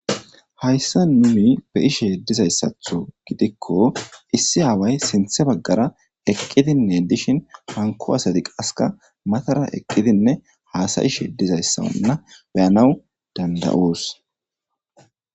hayssa nuni be'ishe dizayssatho gidikko issi aaway sinthe baggara eqqidinne dishin hanko asati qaska matara eqqidinne haasayishe dizayssa anna beyanawu danda7oos